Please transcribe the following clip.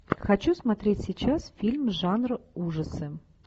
хочу смотреть сейчас фильм жанра ужасы